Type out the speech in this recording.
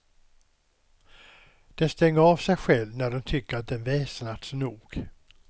Den stänger av sig själv när den tycker att den väsnats nog.